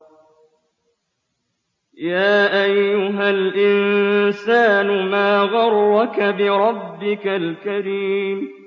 يَا أَيُّهَا الْإِنسَانُ مَا غَرَّكَ بِرَبِّكَ الْكَرِيمِ